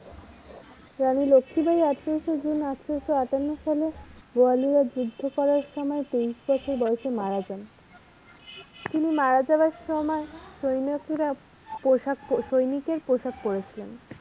রানী লক্ষীবাঈ আঠারোই জুন আঠারোশ আটান্ন সালে গোয়ালিয়র যুদ্ধ করার সময় তিরিশ বছর বয়সে মারা যান তিনি মারা যাওয়ার সময় সৈনিকের পোশাক পড়েছিলেন।